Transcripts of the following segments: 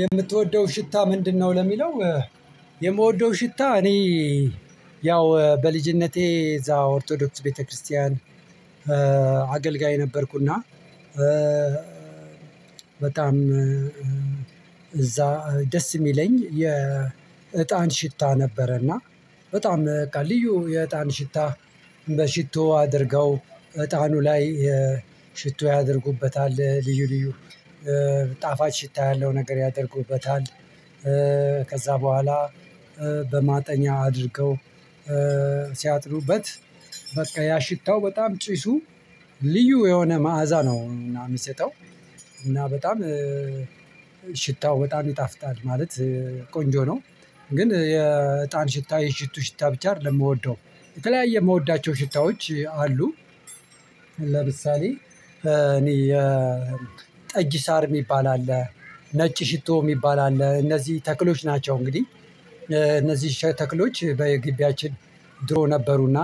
የምትወደው ሽታ ምንድነው? ለሚለው የምወደው ሽታ እኔ ያው በልጅነቴ እዛ ኦርቶዶክስ ቤተክርስቲያን አገልጋይ ነበርኩና። በጣም እዛ ደስ የሚለኝ የእጣን ሽታ ነበረና። በጣም በቃ ልዩ የእጣን ሽታ በሽቶ አድርገው እጣኑ ላይ ሽቶ ያደርጉበታል ልዩ ልዩ ጣፋጭ ሽታ ያለው ነገር ያደርጉበታል። ከዛ በኋላ በማጠኛ አድርገው ሲያጥኑበት በቃ ያ ሽታው በጣም ጭሱ ልዩ የሆነ መዓዛ ነው የሚሰጠው። እና በጣም ሽታው በጣም ይጣፍጣል ማለት ቆንጆ ነው። ግን የእጣን ሽታ የሽቱ ሽታ ብቻ አይደለም የምወደው ከላይ የምወዳቸው ሽታዎች አሉ። ለምሳሌ እኔ የጠጅ ሳር የሚባል አለ ነጭ ሽቶ የሚባል አለ እነዚህ ተክሎች ናቸው። እንግዲህ እነዚህ ተክሎች በግቢያችን ድሮ ነበሩና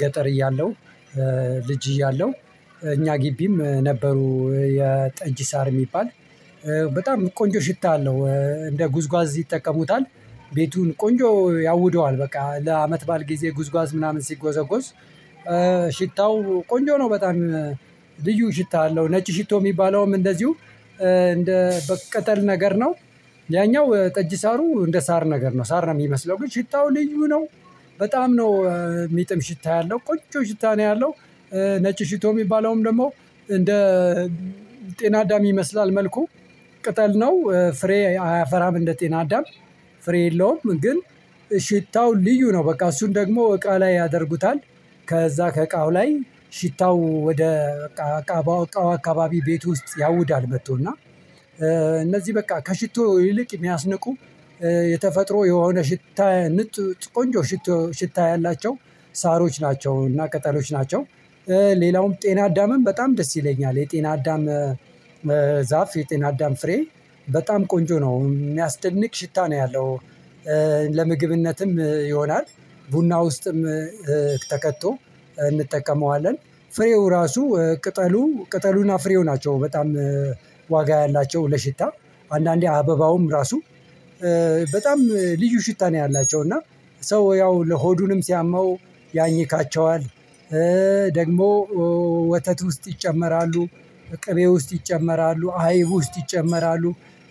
ገጠር እያለው ልጅ እያለው እኛ ግቢም ነበሩ የጠጅ ሳር የሚባል በጣም ቆንጆ ሽታ አለው። እንደ ጉዝጓዝ ይጠቀሙታል ቤቱን ቆንጆ ያውደዋል በቃ ለአመት ባል ጊዜ ጉዝጓዝ ምናምን ሲጎዘጎዝ ሽታው ቆንጆ ነው በጣም ልዩ ሽታ አለው። ነጭ ሽቶ የሚባለውም እንደዚሁ እንደ በቅጠል ነገር ነው ያኛው ጠጅ ሳሩ እንደ ሳር ነገር ነው ሳር ነው የሚመስለው ግን ሽታው ልዩ ነው። በጣም ነው የሚጥም ሽታ ያለው ቆንጆ ሽታ ነው ያለው። ነጭ ሽቶ የሚባለውም ደግሞ እንደ ጤና አዳም ይመስላል መልኩ ቅጠል ነው ፍሬ አያፈራም እንደ ጤና አዳም ፍሬ የለውም ግን ሽታው ልዩ ነው። በቃ እሱን ደግሞ እቃ ላይ ያደርጉታል ከዛ ከእቃው ላይ ሽታው ወደ በቃ እቃው አካባቢ ቤት ውስጥ ያውዳል መጥቶ እና እነዚህ በቃ ከሽቶ ይልቅ የሚያስንቁ የተፈጥሮ የሆነ ሽታ ቆንጆ ሽቶ ሽታ ያላቸው ሳሮች ናቸው እና ቅጠሎች ናቸው። ሌላውም ጤና አዳምም በጣም ደስ ይለኛል የጤና አዳም ዛፍ የጤና አዳም ፍሬ በጣም ቆንጆ ነው የሚያስደንቅ ሽታ ነው ያለው። ለምግብነትም ይሆናል ቡና ውስጥም ተከቶ እንጠቀመዋለን ፍሬው ራሱ ቅጠሉ ቅጠሉና ፍሬው ናቸው በጣም ዋጋ ያላቸው ለሽታ አንዳንዴ አበባውም ራሱ በጣም ልዩ ሽታ ነው። ያላቸው እና ሰው ያው ለሆዱንም ሲያመው ያኝካቸዋል ደግሞ ወተት ውስጥ ይጨመራሉ ቅቤ ውስጥ ይጨመራሉ አይብ ውስጥ ይጨመራሉ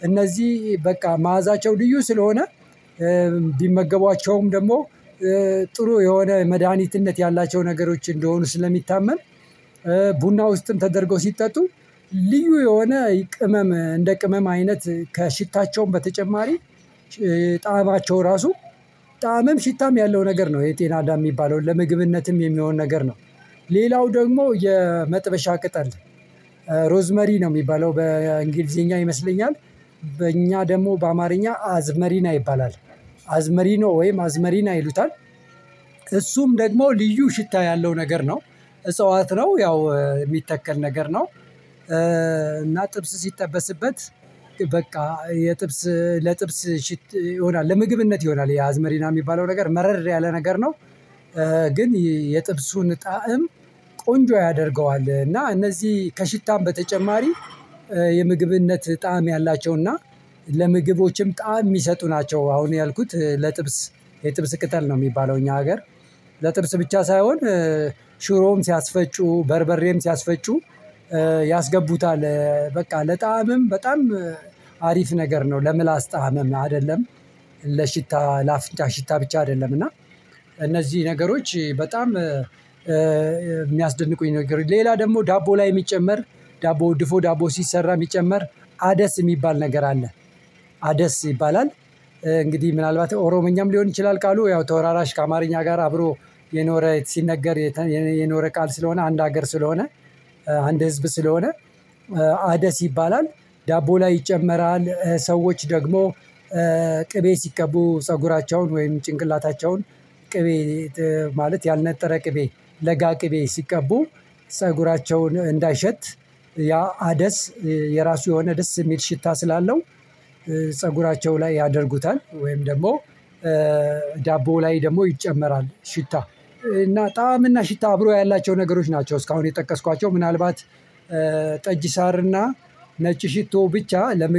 እነዚህ በቃ መዓዛቸው ልዩ ስለሆነ ቢመገቧቸውም ደግሞ ጥሩ የሆነ መድሃኒትነት ያላቸው ነገሮች እንደሆኑ ስለሚታመን ቡና ውስጥም ተደርገው ሲጠጡ ልዩ የሆነ ቅመም እንደ ቅመም አይነት ከሽታቸውም በተጨማሪ ጣዕማቸው ራሱ ጣዕመም ሽታም ያለው ነገር ነው የጤናዳ የሚባለውን ለምግብነትም የሚሆን ነገር ነው። ሌላው ደግሞ የመጥበሻ ቅጠል ሮዝመሪ ነው የሚባለው በእንግሊዘኛ ይመስለኛል በእኛ ደግሞ በአማርኛ አዝመሪና ይባላል አዝመሪ ኖ ነው ወይም አዝመሪና ይሉታል እሱም ደግሞ ልዩ ሽታ ያለው ነገር ነው። እጽዋት ነው ያው የሚተከል ነገር ነው እና ጥብስ ሲጠበስበት በቃ የጥብስ ለጥብስ ሽት ይሆናል ለምግብነት ይሆናል የአዝመሪና የሚባለው ነገር መረር ያለ ነገር ነው። ግን የጥብሱን ጣዕም ቆንጆ ያደርገዋል እና እነዚህ ከሽታም በተጨማሪ የምግብነት ጣዕም ያላቸው እና ለምግቦችም ጣዕም የሚሰጡ ናቸው። አሁን ያልኩት ለጥብስ የጥብስ ቅጠል ነው የሚባለው እኛ ሀገር ለጥብስ ብቻ ሳይሆን ሽሮም ሲያስፈጩ በርበሬም ሲያስፈጩ ያስገቡታል በቃ ለጣዕምም በጣም አሪፍ ነገር ነው ለምላስ ጣዕምም አይደለም። ለሽታ ለአፍንጫ ሽታ ብቻ አይደለም እና እነዚህ ነገሮች በጣም የሚያስደንቁኝ ነገሮች ሌላ ደግሞ ዳቦ ላይ የሚጨመር ዳቦ ድፎ ዳቦ ሲሰራ የሚጨመር አደስ የሚባል ነገር አለ። አደስ ይባላል እንግዲህ ምናልባት ኦሮምኛም ሊሆን ይችላል ቃሉ ያው ተወራራሽ ከአማርኛ ጋር አብሮ የኖረ ሲነገር የኖረ ቃል ስለሆነ አንድ ሀገር ስለሆነ አንድ ህዝብ ስለሆነ አደስ ይባላል። ዳቦ ላይ ይጨመራል ሰዎች ደግሞ ቅቤ ሲቀቡ ፀጉራቸውን ወይም ጭንቅላታቸውን ቅቤ ማለት ያልነጠረ ቅቤ ለጋ ቅቤ ሲቀቡ ፀጉራቸውን እንዳይሸት ያ አደስ የራሱ የሆነ ደስ የሚል ሽታ ስላለው ፀጉራቸው ላይ ያደርጉታል ወይም ደግሞ ዳቦ ላይ ደግሞ ይጨመራል ሽታ እና ጣዕም እና ሽታ አብሮ ያላቸው ነገሮች ናቸው። እስካሁን የጠቀስኳቸው ምናልባት ጠጅ ሳር እና ነጭ ሽቶ ብቻ ለመ